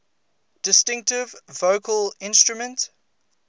distinctive vocal instrument